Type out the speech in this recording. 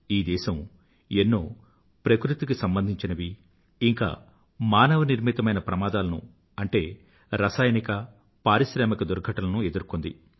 ఈ దేశం ఎన్నో ప్రకృతిక మానవ నిర్మితమైన ప్రమాదాలను అంటే ఎన్నో రసాయనిక పారిశ్రామిక దుర్ఘటనలను ఎదుర్కొంది